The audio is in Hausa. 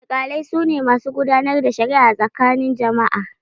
Alkalai su ne masu gudanar da shari'a a tsakanin jama'a.